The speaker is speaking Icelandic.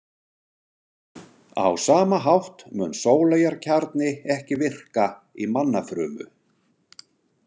Á sama hátt mun sóleyjarkjarni ekki virka í mannafrumu.